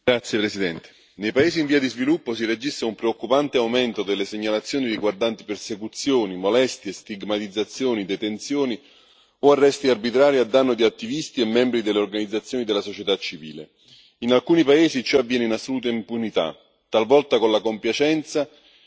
Signora Presidente, onorevoli colleghi, nei paesi in via di sviluppo si registra un preoccupante aumento delle segnalazioni riguardanti persecuzioni, molestie, stigmatizzazioni, detenzioni o arresti arbitrari a danno di attivisti e membri delle organizzazioni della società civile. In alcuni paesi ciò avviene in assoluta impunità, talvolta con la compiacenza